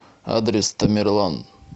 адрес тамерлан